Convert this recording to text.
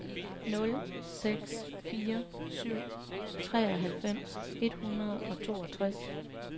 nul seks fire syv treoghalvfems et hundrede og toogtres